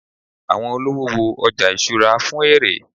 awọn olówò wo oja ìṣura fún èrè